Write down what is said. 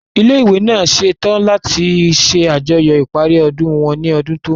Ilé ìwé náà ń ṣètò láti ṣe àjọyọ̀ ìparí ọdún wọn ní ọdún tó ń bọ̀